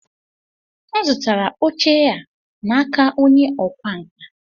M zụtara oche a n'aka onye ọkwá nkà.